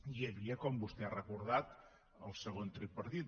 hi havia com vostè ha recordat el segon tripartit